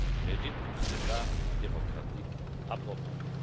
L'Europe mérite un débat démocratique approfondi.